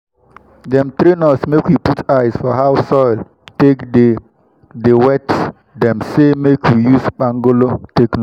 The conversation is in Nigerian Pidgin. dem train us make we put eyes for how soil take dey dey wet dem say make we use kpangolo take know